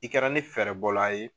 I kɛra ni fɛɛrɛ bɔla ye